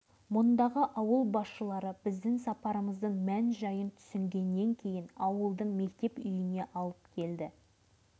сонадайдан жүдеу тіршілік тынысын танытып тұрған май селосына келіп кіргенімізде тек кинолардан ғана көріп жүрген жылдардағы қазақ ауылдары